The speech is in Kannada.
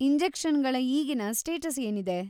ಇಂಜೆಕ್ಷನ್‌ಗಳ ಈಗಿನ ಸ್ಟೇಟಸ್‌ ಏನಿದೆ?